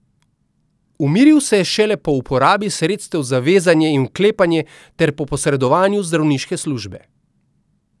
Umiril se je šele po uporabi sredstev za vezanje in vklepanje ter po posredovanju zdravniške službe.